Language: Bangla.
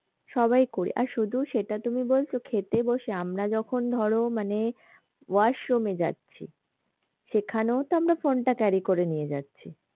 সবাই করি আর শুধু সেইটা তুমি বলছো খেতে বসে আমরা যখন ধরো মানে washroom এ যাচ্ছি সেখানেও তো আমরা phone টা carry করে নিয়ে যাচ্ছি।